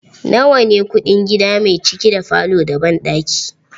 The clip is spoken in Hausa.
Nawa ne kuɗin gida mai ciki da falo da banɗaki?